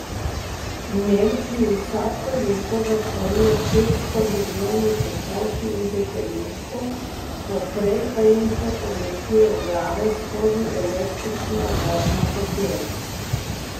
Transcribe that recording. V Nemčiji vsako leto zakoljejo šeststo milijonov kokoši in petelinčkov, poprej pa jim še povlečejo glave skozi električno vodno kopel.